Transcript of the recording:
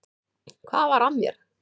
Hvað var að mér!